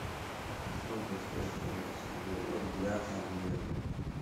сколько стоит канадский доллар для обмена